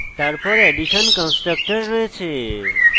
তারপর addition constructor রয়েছে